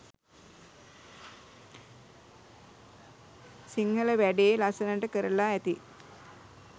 සිංහල වැඩේ ලස්සනට කරලා ඇති